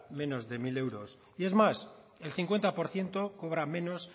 menos de mil euros y es más el cincuenta por ciento cobra menos